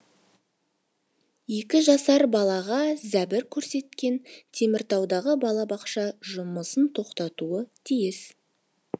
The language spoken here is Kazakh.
екі жасар балаға зәбір көрсеткен теміртаудағы балабақша жұмысын тоқтатуы тиіс